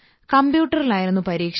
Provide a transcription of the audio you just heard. കമ്പ്യൂട്ടറിലായിരുന്നു പരീക്ഷ